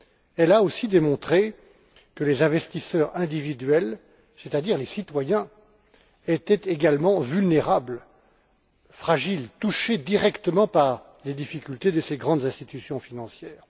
Elle a aussi démontré que les investisseurs individuels, c'est à dire les citoyens, étaient également vulnérables, fragiles et touchés directement par les difficultés de ces grandes institutions financières.